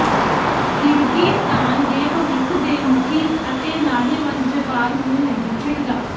Kyrgyzstan ਦੇ ਭਵਿੱਖ ਦੇ ਮੁਖੀ ਅਤੇ ਲਾਹੇਵੰਦ ਵਪਾਰ ਨੂੰ ਨਹੀਂ ਛੱਡਦਾ